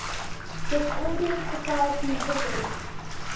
discordian society headed